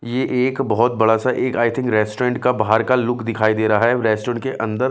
ये एक बहुत बड़ा सा एक आई थिंग रेस्टोरेंट का बाहर का लुक दिखाई दे रहा है रेस्टोरेंट के अन्दर--